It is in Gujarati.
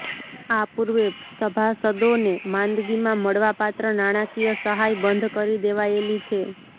આ પૂર્વે સભાસદોને માંદગીમાં મળવાપાત્ર નાણાકીય સહાય બંધ કરી દેવાયેલી છે